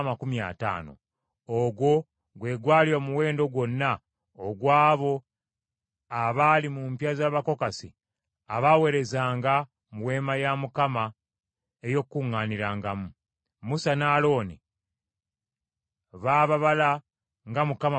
Ogwo gwe gwali omuwendo gwonna ogw’abo abaali mu mpya z’Abakokasi abaaweerezanga mu Weema ey’Okukuŋŋaanirangamu. Musa ne Alooni baababala nga Mukama bwe yalagira Musa.